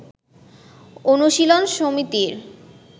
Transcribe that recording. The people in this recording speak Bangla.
অনুশীলন সমিতির